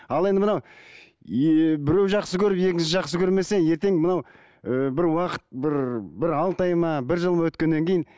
ал енді мынау біреуі жақсы көріп екіншісі жақсы көрмесе ертең мынау ы бір уақыт бір бір алты ай ма бір жыл өткеннен кейін